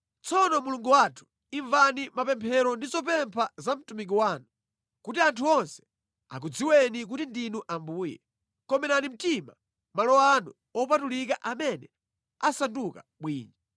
“Tsopano Mulungu wathu, imvani mapemphero ndi zopempha za mtumiki wanu. Kuti anthu onse akudziweni kuti ndinu Ambuye, komerani mtima malo anu opatulika amene asanduka bwinja.